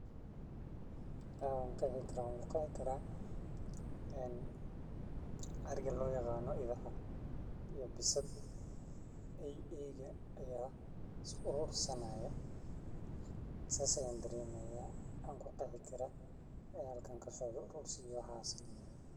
Waxan ki qeexi karaa ariga lo yaqano bisaad eyga aya is arursani haya sas ayan daremi haya ayan ku qeexi karaa sas ayan daremi haya.